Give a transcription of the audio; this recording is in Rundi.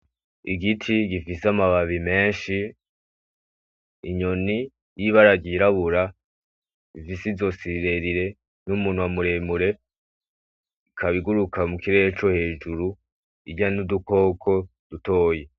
Igiti gifise amababi menshi, inyoni y'ibara ry'irabura rifise izosi rirerire n'umunwa muremure, ikaba iguruka mukirere cohejuru, irya n'udukoko dutoyi.